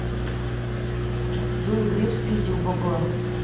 джой греф спиздил бабла